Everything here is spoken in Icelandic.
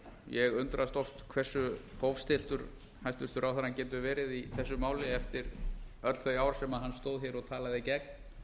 ég undrast oft hversu hófstilltur hæstvirtur ráðherrann getur verið í þessu máli eftir öll þau ár sem hann stóð hér og talaði gegn